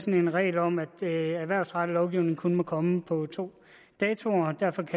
en regel om at erhvervsrettet lovgivning kun må komme på to datoer